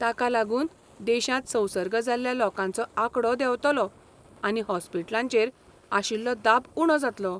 ताका लागून देशांत संसर्ग जाल्ल्या लोकांचो आंकडो देंवतलो आनी हॉस्पिटलांचेर आशिल्लो दाब उणो जातलो.